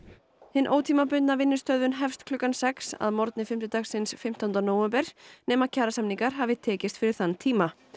hin ótímabundna vinnustöðvun hefst klukkan sex að morgni fimmtudagsins fimmtánda nóvember nema kjarasamningar hafi tekist fyrir þann tíma